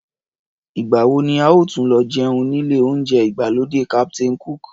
Ìgbà wo ni a óò tún lọ jẹun nílé oúnjẹ ìgbàlódé Captain Cook?